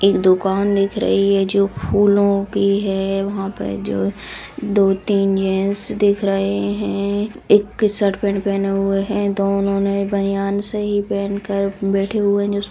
एक दुकान दिख रही है जो फूलों की है वहां पे जो दो-तीन जेंट्स दिख रहे है एक शर्ट पेंट पहना हुआ है दोनों ने बनियान सी पहन कर बैठे हुए है